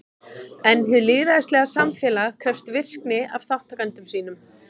En hið lýðræðislega samfélag krefst virkni af þátttakendum sínum.